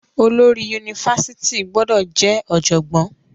Olórí yunifásítì gbọdọ jẹ ọjọgbọn.